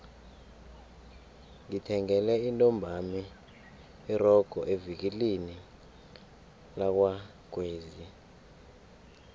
ngithengele intombami irogo evikilini lakwagwezi